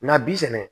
Nga bi sɛnɛ